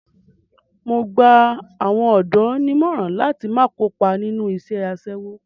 Mo gba àwọn ọ̀dọ́ nímọ̀ràn láti má kópa nínú iṣẹ́ aṣẹ́wó.